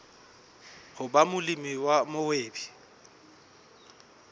ho ba molemi wa mohwebi